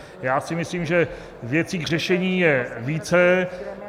Já si myslím, že věcí k řešení je více.